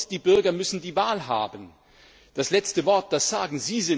Und die Bürger müssen die Wahl haben, das letzte Wort zu sagen.